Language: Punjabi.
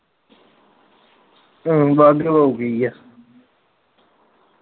ਹਮ ਬਾਘੇ ਬਾਉ ਠੀਕ ਏ